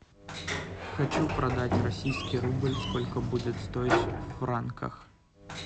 хочу продать российский рубль сколько будет стоить в франках